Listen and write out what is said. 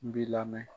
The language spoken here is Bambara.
N bi lamɛn